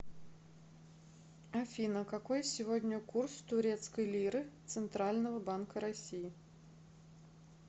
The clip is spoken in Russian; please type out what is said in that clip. афина какой сегодня курс турецкой лиры центрального банка россии